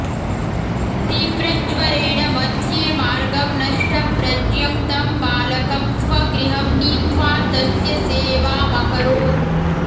तीव्रज्वरेण मध्येमार्गं नष्टप्रज्ञं तं बालकं स्वगृहं नीत्वा तस्य सेवामकरोत्